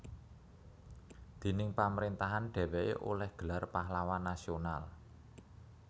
Déning pamrentahan dheweke oleh gelar Pahlawan Nasional